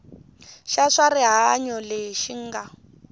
xa swa rihanyo lexi nga